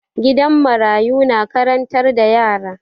Gidan marayu na karantar da yara.